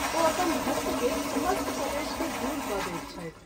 ओ अपन भक्त के समस्त क्लेश के दूर क’ दैत छथि।